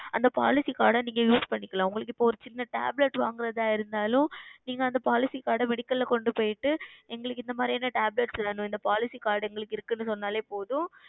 அந்த Policy Card நீங்கள் Use செய்துகொள்ளலாம் உங்களுக்கு இப்பொழுது ஓர் சிறிய Tablet வாங்குறதாக இருந்தாலும் நீங்கள் அந்த Policy Card ஆ Medical ல கொண்டு சென்று எங்களுக்கு இந்த மாதிரியான Tablets வேண்டும் இந்த Policy Card எங்களுக்கு இருக்கு என்று சொன்னாலே போதும்